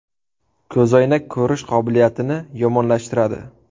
Ko‘zoynak ko‘rish qobiliyatini yomonlashtiradi .